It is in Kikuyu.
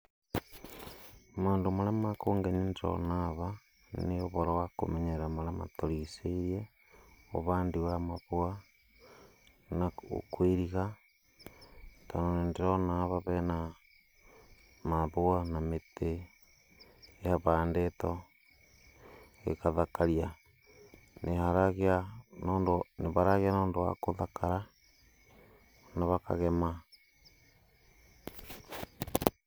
Maũndũ marĩa makũngenia tũrona haha nĩ ũndũ wa kũmenyerera marĩa matũrigicĩirie, ũhandi wa mahũa, na kũiriga, tondũ nĩndĩrona haha mahũa na mĩtĩ, ĩhandĩtwo ĩgathakaria. Nĩ haragĩa na ũndũ wa gũthakara na hakagema.